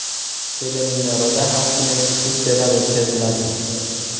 Teleminorada har kuni ekskursiyalar o‘tkaziladi.